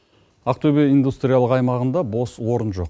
ақтөбе индустриялық аймағында бос орын жоқ